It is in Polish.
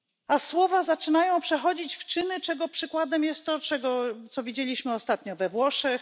A słowa zaczynają przechodzić w czyny, czego przykładem jest to, co widzieliśmy ostatnio we Włoszech.